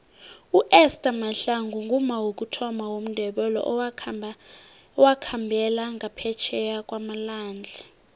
uester mahlangu ngumma wokuthoma womndebele owakhambela ngaphetjheya kwamalwandle